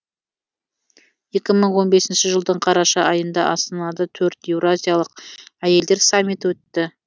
екі мың он бесінші жылдың қараша айында астанада төрт еуразиялық әйелдер саммиті өтті